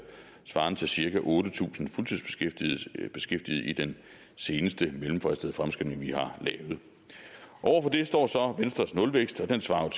svarende til cirka otte tusind fuldtidsbeskæftigede i den seneste mellemfristede fremskrivning vi har lavet over for det står så venstres nulvækst og den svarer